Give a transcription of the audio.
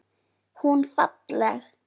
Hún falleg.